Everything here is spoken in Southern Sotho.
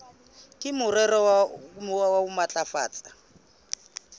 ka morero wa ho matlafatsa